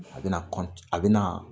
A bina a bina